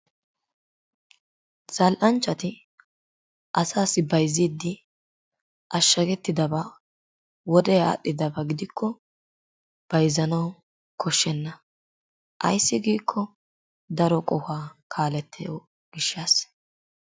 Zala'anchatti asassi bayzidi ashagetidabbaa wodee arhidabba gidikko bayzanwu koshenna, ayssi gikko daroo qohuwaa kalettiyoo gishaasi